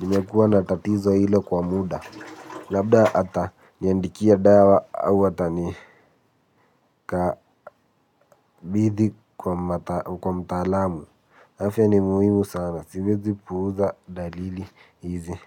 Nimekuwa na tatizo hilo kwa muda labda aata niandikia dawa au hata ni kabidhi kwa mtalaamu. Afya ni muhimu sana, siwezi puuza dalili hizi.